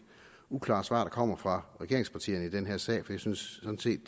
uklare svar der kommer fra regeringspartierne i den her sag jeg synes sådan set